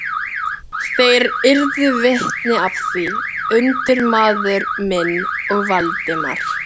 Þeir yrðu vitni að því: undirmaður minn og Valdimar.